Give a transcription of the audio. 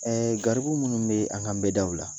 ; Garibu munnu bɛ a kaan n bɛɛ daw la?